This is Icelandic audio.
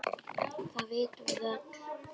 Það vitum við öll.